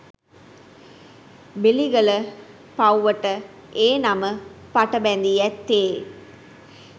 බෙලිගල පව්වට ඒ නම පටබැඳී ඇත්තේ